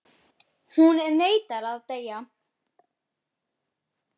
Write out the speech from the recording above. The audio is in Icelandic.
Hún neitar að deyja.